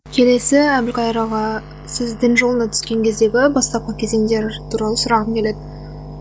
келесі әбілқайыр аға сіз дін жолына түскен кездегі бастапқы кезіңдер туралы сұрағым келеді